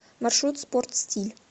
маршрут спорт стиль